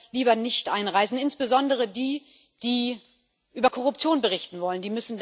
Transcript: Die lässt er lieber nicht einreisen, insbesondere diejenigen, die über Korruption berichten wollen.